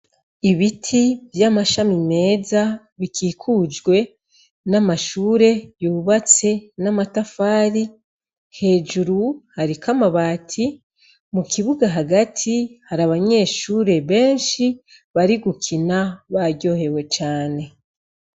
Ibiti vy'amashami meza bikikujwe n'amashure yubatse n'amatafari hejuru hariko amabati. Mu kibuga hagati, har’abanyeshure benshi bari gukina baryohewe cane.